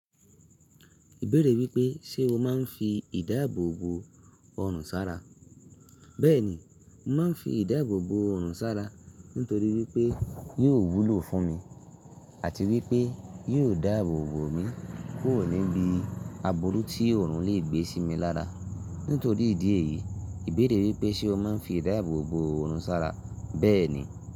Ìbéèrè wípé, ṣe o máa ń fi ìdáàbò bo ọrùn sára? Bẹ́ẹ̀ ni, mo máa ń fi ìdáàbò bo ọrùn sára nítorí wípé yóò wúlò fún mi àti wípé yóò dáàbò bo mi kuro níbi aburú tí ọrùn lè gbé sí mi lára. Nítorí ìdí èyí, ìbéèrè wípé ṣe o máa ń fi ìdáàbò bo ọrùn sára? Bẹ́ẹ̀ ni.